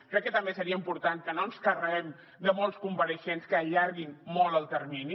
crec que també seria important que no ens carreguem de molts compareixents que allarguin molt el termini